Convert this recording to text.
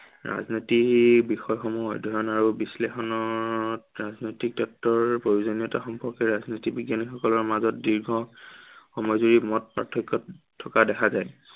ৰাজনীতিৰ বিষয়সমূহ অধ্য়য়ন আৰু বিশ্লেষণৰ ৰাজনীতি তত্ত্বৰ প্ৰয়োজনীয়তা সম্পৰ্কে ৰাজনীতি বিজ্ঞানীসকলৰ মাজত দীৰ্ঘ সময় জুৰি মত প্ৰাৰ্থক্য় থকা দেখা যায়।